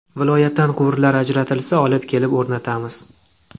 Viloyatdan quvurlar ajratilsa, olib kelib o‘rnatamiz.